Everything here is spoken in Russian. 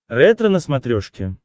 ретро на смотрешке